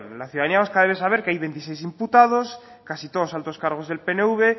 la ciudadanía vasca debe saber que hay veintiséis imputados casi todos altos cargos del pnv